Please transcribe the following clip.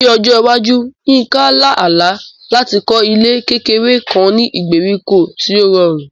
Ní ọjọ́ iwájú, Yinka ń lá àlá láti kọ́ ilé kékeré kan ní ìgbèríko tí ó rọrùn.